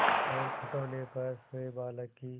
और खटोले पर सोए बालक की